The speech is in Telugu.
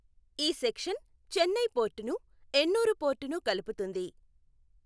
ఈ సెక్షన్ చెన్నై పోర్టును, ఎణ్ణూరు పోర్టును కలుపుతుంది.